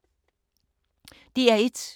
DR1